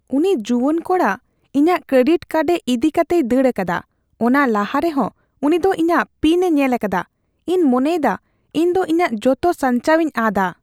ᱩᱱᱤ ᱡᱩᱣᱟᱹᱱ ᱠᱚᱲᱟ ᱤᱧᱟᱜ ᱠᱨᱮᱰᱤᱴ ᱠᱟᱨᱰ ᱤᱫᱤᱠᱟᱛᱮᱭ ᱫᱟᱹᱲ ᱟᱠᱟᱫᱟ ᱾ ᱚᱱᱟ ᱞᱟᱦᱟᱨᱮ ᱦᱚᱸ ᱩᱱᱤ ᱫᱚ ᱤᱧᱟᱜ ᱯᱤᱱᱼᱮ ᱧᱮᱞ ᱟᱠᱟᱫᱟ ᱾ ᱤᱧ ᱢᱚᱱᱮᱭᱮᱫᱟ ᱤᱧ ᱫᱚ ᱤᱧᱟᱜ ᱡᱚᱛᱚ ᱥᱟᱧᱪᱟᱣᱤᱧ ᱟᱫᱼᱟ ᱾